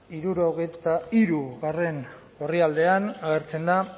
hirurogeita hirugarrena orrialdean agertzen da